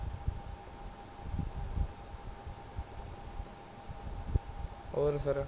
ਹੋਰ ਫੇਰ